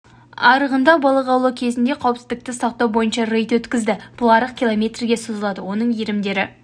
арығында балық аулау кезінде қауіпсіздікті сақтау бойынша рейд өткізді бұл арық километрге созылады оның иірімдері